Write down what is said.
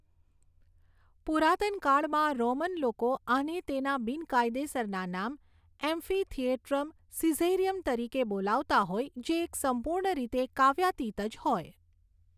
પુરાતનકાળમાં Roman લોકો આને તેના બિનકાયદેસરના નામ એમ્ફીથિએટ્રમ સીઝેરીયમ તરીકે બોલાવતાં હોય જે એક સંપૂર્ણ રીતે કાવ્યાતીત જ હોય.